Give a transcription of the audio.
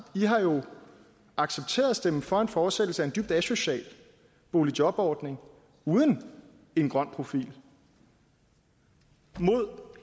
i har jo accepteret at stemme for en fortsættelse af en dybt asocial boligjobordning uden en grøn profil mod